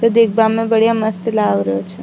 ओ दिखबा म बढ़िया मस्त लाग रहा छ।